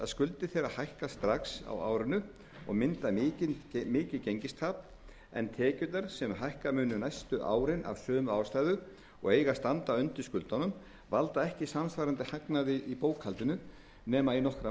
skuldir þeirra hækka strax á árinu og mynda mikið gengistap en tekjurnar sem hækka munu næstu árin af sömu ástæðu og eiga að standa undir skuldunum valda ekki samsvarandi hagnaði í bókhaldinu nema í nokkra